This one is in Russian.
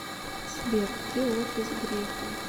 сбер где офис грефа